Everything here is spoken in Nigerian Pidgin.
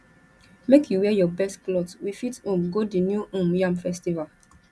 make you wear your best clothe we fit um go di new um yam festival